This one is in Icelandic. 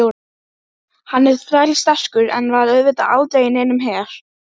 Ég þakka fyrir matinn og aðhlynninguna sagði Jóra.